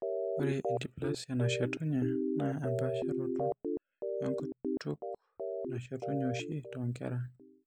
Ore endysplasia nashetunye naa empaasharoto enkutuk nashetunye oshi toonkera.